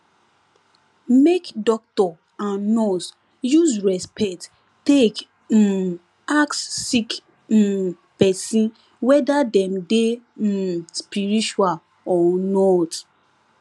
make doctor and nurse use respect take um ask sick um pesin wether dem dey um spiritual or not